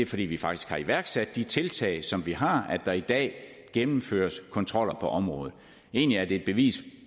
fordi vi faktisk har iværksat de tiltag som vi har at der i dag gennemføres kontroller på området egentlig er det et bevis